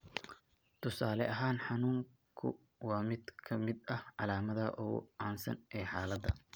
Tusaale ahaan, xanuunku waa mid ka mid ah calaamadaha ugu caansan ee xaaladda.